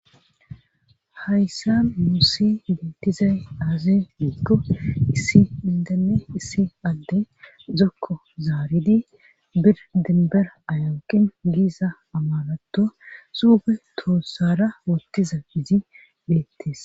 Hayssa nuusi beettizay aazin digko issi bindane issi adde dokko zaaridi birdinber aywoqin giisa amaratto suuge toossara wottiza izi beettes.